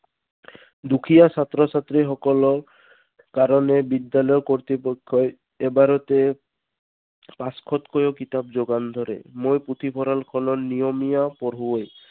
দুখীয়া ছাত্ৰ ছাত্ৰীসকলৰ কাৰণে বিদ্যালয় কৰ্তৃপক্ষই এবাৰতে পাঁচশত কৈয়ো কিতাপ যোগান ধৰে। মই পুথিভঁৰালখনত নিয়মীয়া পঢ়ুৱৈ।